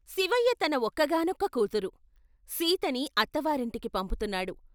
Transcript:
శివయ్య తన ఒక్కగానొక్క కూతురు, సీతని అత్తవారింటికి పంపుతున్నాడు.